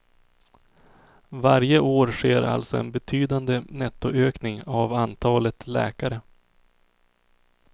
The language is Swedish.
Varje år sker alltså en betydande nettoökning av antalet läkare.